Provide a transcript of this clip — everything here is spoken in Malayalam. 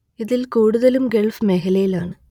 ഇതിൽ കൂടുതലും ഗൾഫ് മേഖലയിൽ ആണ്